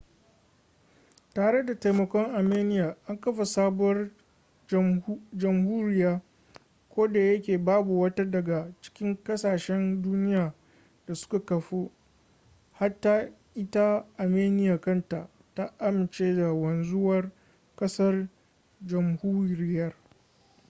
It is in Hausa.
tare da taimakon armenia an kafa wata sabuwar jamhuriya. ko da yake babu wata daga cikin kasashen duniya da suka kafu - hatta ita armenian kanta - ta amince da wanzuwar kasar/jamhuriyar